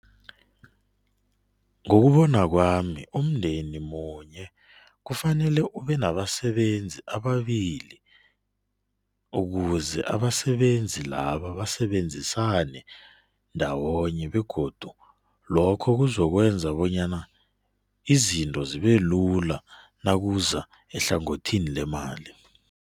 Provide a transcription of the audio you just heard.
Ngokubona kwami umndeni munye kufanele ubenabasebenzi ababili ukuze abasebenzi labo basebenzisane ndawonye begodu lokho kuzokwenza bonyana izinto zibelula nakuza ehlangothini lemali.